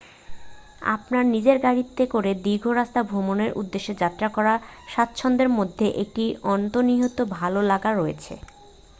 আপনার নিজের গাড়িতে করে দীর্ঘ রাস্তা ভ্রমণের উদ্দেশ্যে যাত্রা করার স্বাচ্ছন্দ্যের মধ্যে একটি অন্তর্নিহিত ভাল লাগা রয়েছে